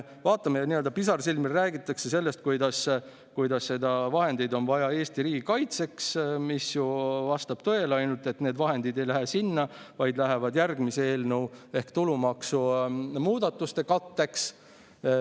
Pisarsilmil räägitakse sellest, kuidas vahendeid on vaja Eesti riigi kaitseks – see vastab tõele –, ainult et need vahendid ei lähe sinna, vaid lähevad järgmise eelnõu ehk tulumaksumuudatuste katteks.